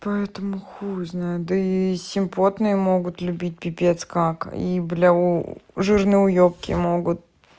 поэтому хуй знает и симпотные могут любить пипец как и жирные уебки могут